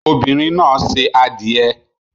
Obinrin na se adie